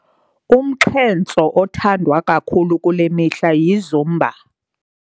Umxhentso othandwa kakhulu kule mihla yiZumba.